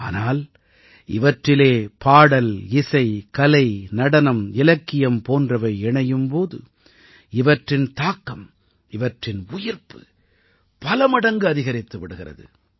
ஆனால் இவற்றிலே பாடல்இசை கலை நடனம் இலக்கியம் போன்றவை இணையும் போது இவற்றின் தாக்கம் இவற்றின் உயிர்ப்பு பல மடங்கு அதிகரித்து விடுகிறது